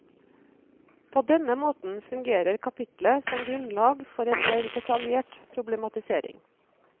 På denne måten fungerer kapitlet som grunnlag for en mer detaljert problematisering.